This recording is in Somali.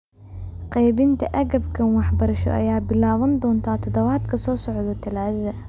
Qaybinta agabkan waxbarasho ayaa bilaaban doonta toddobaadka soo socda Talaadada.